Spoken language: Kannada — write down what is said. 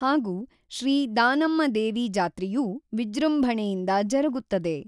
ಹಾಗೂ ಶ್ರೀ ದಾನಮ್ಮದೇವಿ ಜಾತ್ರೆಯೂ ವಿಜೃಂಭಣೆಯಿಂದ ಜರುಗುತ್ತದೆ.